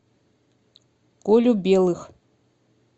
колю белых